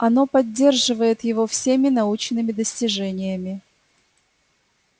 оно поддерживает его всеми научными достижениями